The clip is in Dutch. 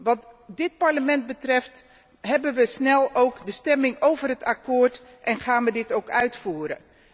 Wat dit Parlement betreft, houden wij ook snel de stemming over het akkoord en gaan wij dit ook uitvoeren.